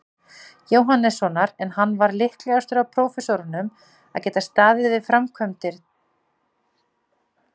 Jóhannessonar, en hann var líklegastur af prófessorunum að geta staðið að framkvæmdum við stórbyggingar.